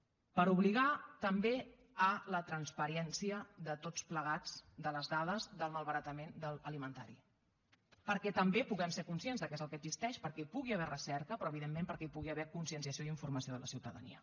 per obligar també a la transparència de tots plegats en les dades del malbaratament alimentari perquè també puguem ser conscients de què és el que existeix perquè hi pugui haver recerca però evidentment perquè hi pugui haver conscienciació i informació de la ciutadania